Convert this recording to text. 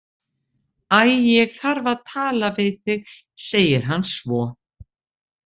Æ, ég þarf að tala við þig, segir hann svo.